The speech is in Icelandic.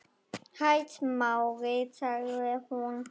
Hæ, Smári- sagði hún.